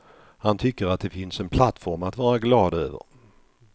Han tycker att det finns en plattform att vara glad över.